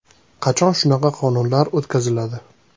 Qachon shunaqa qonunlar o‘tkaziladi?